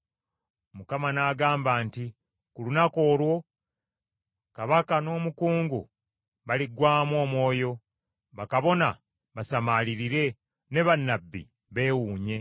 Mukama n’agamba nti, “Ku lunaku olwo, kabaka n’omukungu baliggwaamu omwoyo, bakabona basamaalirire ne bannabbi beewuunye.”